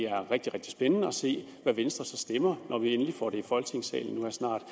rigtig rigtig spændende at se hvad venstre så stemmer når vi får det i folketingssalen snart vi